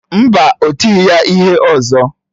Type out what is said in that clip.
Mba, ọ tighị ya ihe ọzọ.